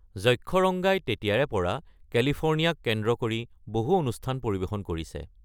যক্ষৰঙ্গাই তেতিয়াৰ পৰা কেলিফৰ্ণিয়াক কেন্দ্ৰ কৰি বহু অনুষ্ঠান পৰিৱেশন কৰিছে।